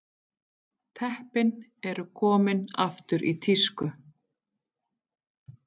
Teppin eru komin aftur í tísku